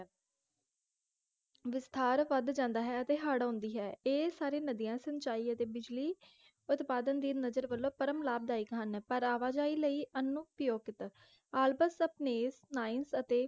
ਵਿਸਥਾਰ ਵੱਧ ਜਾਂਦਾ ਹੈ ਅਤੇ ਹੜ੍ਹ ਆਉਂਦੀ ਹੈ ਇਹ ਸਾਰੇ ਨਦੀਆਂ ਸਿੰਚਾਈ ਅਤੇ ਬਿਜਲੀ ਉਤਪਾਦਨ ਦੇ ਨਜ਼ਰ ਵਲੋਂ ਪਰਮ ਲਾਭਦਾਇਕ ਹਨ ਪਰ ਆਵਾਜਾਈ ਲਈ ਅਨਉਪਯੋਗਿਤ ਆਲਪਸ ਸਪਨੇਸ ਨਾਇੰਜ ਅਤੇ